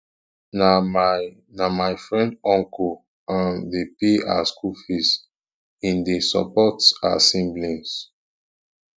na my na my friend uncle um dey pay her skool fees im dey support her siblings um